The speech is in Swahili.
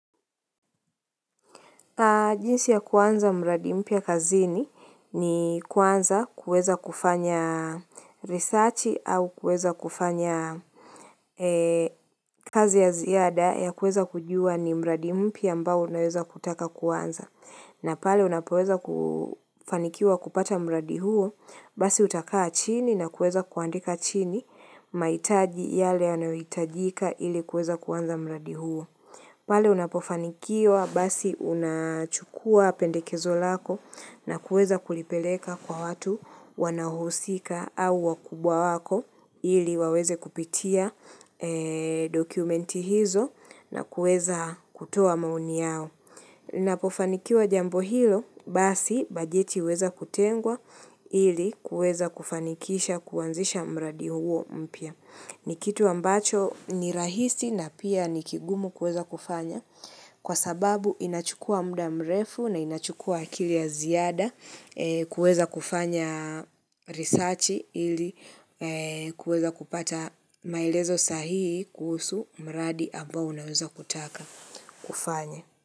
Jinsi ya kuanza mradi mpya kazini ni kwanza kuweza kufanya risachi au kuweza kufanya kazi ya ziada ya kuweza kujua ni mradi mpya ambao unaweza kutaka kuanza. Na pale unapoweza kufanikiwa kupata mradi huo basi utakaa chini na kuweza kuandika chini mahitaji yale yanayohitajika ili kuweza kuanza mradi huo. Pale unapofanikiwa basi unachukua pendekezo lako na kuweza kulipeleka kwa watu wanaohusika au wakubwa wako ili waweze kupitia dokumenti hizo na kuweza kutoa maoni yao. Ninapofanikiwa jambo hilo basi bajeti huweza kutengwa ili kuweza kufanikisha kuanzisha mradi huo mpya. Ni kitu ambacho ni rahisi na pia ni kigumu kuweza kufanya kwa sababu inachukua muda mrefu na inachukua akili ya ziada kuweza kufanya risachi ili kuweza kupata maelezo sahihi kuhusu mradi ambao unaweza kutaka kufanya.